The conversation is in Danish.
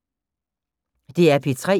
DR P3